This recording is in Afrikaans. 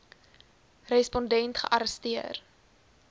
respon dent gearresteer